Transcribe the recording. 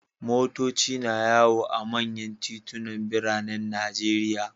Motoci na yawo a manyan titunan biranen Najeriya.